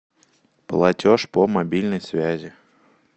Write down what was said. платеж по мобильной связи